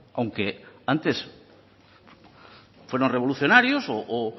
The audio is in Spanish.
aunque antes fueron revolucionarios o